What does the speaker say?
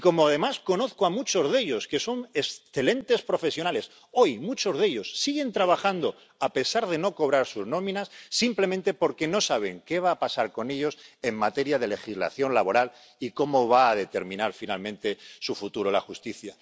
Y como además conozco a muchos de ellos, que son excelentes profesionales, sé que hoy muchos de ellos siguen trabajando a pesar de no cobrar sus nóminas, simplemente porque no saben qué va a pasar con ellos en materia de legislación laboral y cómo va a determinar finalmente su futuro la justicia.